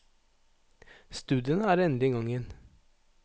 Studiene er endelig i gang igjen.